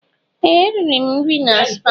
Ee! Eriri m nri na spaa.